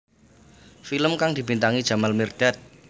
Film kang dibintangi Jamal Mirdad